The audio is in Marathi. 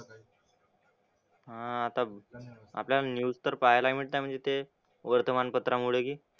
हां आता आपल्याला न्यूज तर पाहायला मिळतंय म्हणजे ते वर्तमानपत्रामुळे की,